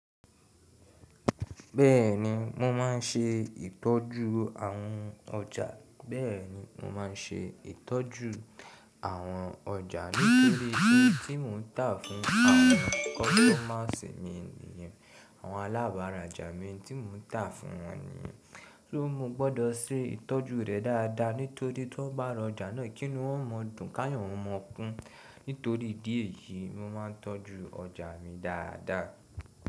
Bẹ́ẹ̀ni mo máa ń ṣe ìtọ́jú àwọn ọjà. Bẹ́ẹ̀ni mo máa ń ṣe ìtọ́jú àwọn ọjà nítorí pé n tí mo ń tà fún àwọn kọ́sítọ́mà si mi niyen, àwọn alábàrájà mi n tií mò ń tà fún wọn niyen. So mo gbọdọ̀ ṣe ìtọ́jú rẹ̀ dáadáa nítorí ton bá rọjà náà kí inú wọn má dùn kayo wọn má kún. Nítorí ìdí èyí, mo máa ń tọ́jú ọjà mi dáadáa.